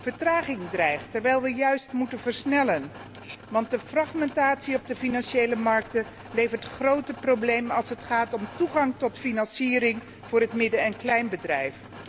Vertraging dreigt, terwijl we juist moeten versnellen, want de fragmentatie op de financiële markten levert grote problemen als het gaat om toegang tot financiering voor het midden en klein bedrijf.